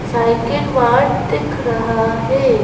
Cycle वाट दिख रहा है।